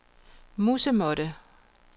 musemåtte